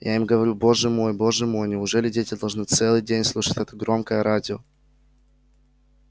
я им говорю боже мой боже мой неужели дети должны целый день слушать это громкое радио